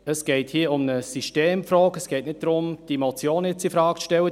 Es geht hier um eine Systemfrage, und nicht darum, diese Motion infrage zu stellen.